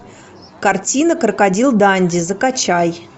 картина крокодил данди закачай